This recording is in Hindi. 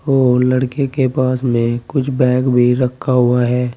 वो लड़के के पास में कुछ बैग भी रखा हुआ है।